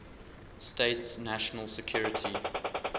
states national security